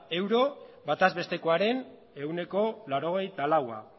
euro bataz bestekoaren ehuneko laurogeita laua